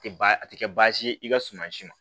Tɛ baa a tɛ kɛ baasi ye i ka suma si ma